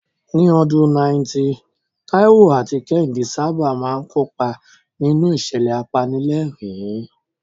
Ní ọdún 90, Taiwo àti Kehinde sábà máa ń kópa nínú ìṣẹ̀lẹ̀ apanilẹ́rìn-ín.